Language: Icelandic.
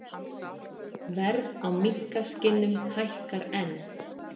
Verð á minkaskinnum hækkar enn